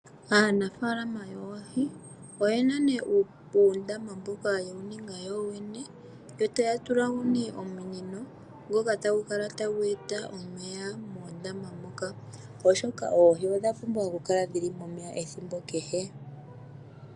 Aanafaalama yoohi oyena nee uundama mboka yewu ninga yoyene, yo taya tulamo nee omunino ngoka tagu kala tagu eta omeya mondama moka, oshoka oohi odha pumbwa oku kala dhili momeya ethimbo kehe.